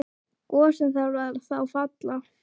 Gosinn þarf þá að falla.